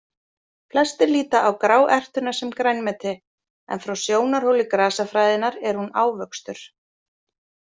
Flestir líta á gráertuna sem grænmeti, en frá sjónarhóli grasafræðinnar er hún ávöxtur.